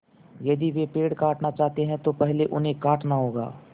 यदि वे पेड़ काटना चाहते हैं तो पहले उन्हें काटना होगा